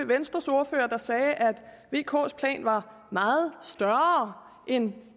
venstres ordfører der sagde at vks plan var meget større end